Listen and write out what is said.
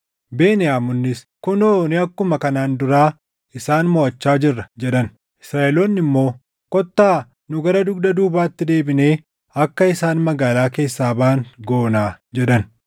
Beniyaamonnis, “Kunoo nu akkuma kanaan duraa isaan moʼachaa jirra” jedhan; Israaʼeloonni immoo, “Kottaa nu gara dugda duubaatti deebinee akka isaan magaalaa keessaa baʼan goonaa” jedhan.